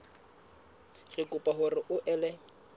re kopa hore o ele